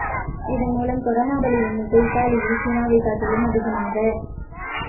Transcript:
இதன் மூலம் கொரோனா பலி எண்ணிக்கை இத்தாலியில் சீனாவைக் காட்டிலும் அதிகமாக